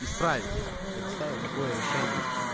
исправить предоставят такое решение